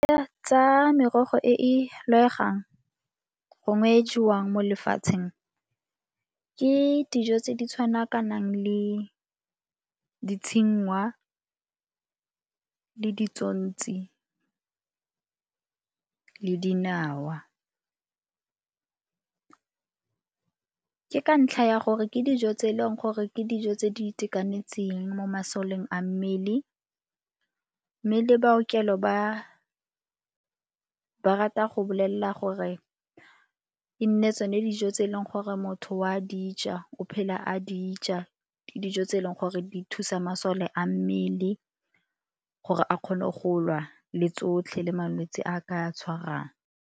Tsa merogo e e gongwe e jewang mo lefatsheng, ke dijo tse di tshwana ka nang le le dinawa. Ke ka ntlha ya gore ke dijo tse e leng gore ke dijo tse di itekanetseng mo masoleng a mmele mme le baokelo ba rata go bolelela gore e nne tsone dijo tse e leng gore motho o a dija o phela a dija. Ke dijo tse e leng gore di thusa masole a mmele gore a kgone go lwa le tsotlhe le malwetsi a a ka tshwarang.